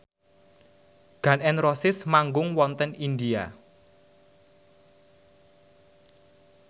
Gun n Roses manggung wonten India